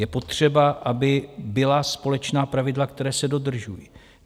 Je potřeba, aby byla společná pravidla, která se dodržují.